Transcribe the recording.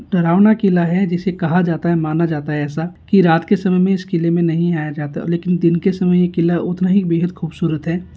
डरावना किला हैं जिसे कहा जाता हैं माना जाता है ऐसा कि रात के समय मे इस किले मे नहीं आया जाता लेकिन दिन के समय ये किला उतना ही बेहद खूबसूरत हैं।